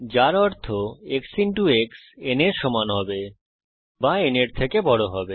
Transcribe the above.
যার অর্থ x x n এর সমান হবে অথবা এটি n এর থেকে বড় হবে